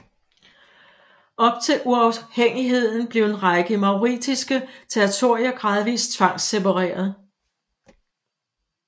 Op til uafhængigheden blev en række mauritiske territorier gradvis tvangssepareret